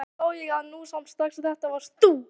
Alveg sá ég það nú samt strax að þetta varst þú!